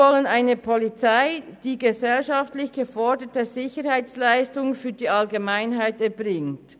Wir wollen eine Polizei, die gesellschaftlich geforderte Sicherheitsleistungen für die Allgemeinheit erbringt.